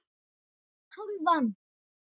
GRÍMUR: Hálfan!